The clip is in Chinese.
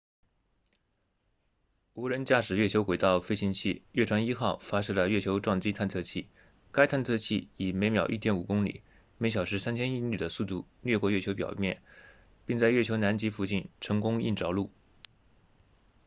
无人驾驶月球轨道飞行器月船一号发射了月球撞击探测器该探测器以每秒 1.5 公里每小时3000英里的速度掠过月球表面并在月球南极附近成功硬着陆